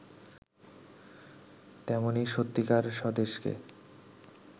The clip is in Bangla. তেমনি সত্যিকার স্বদেশকে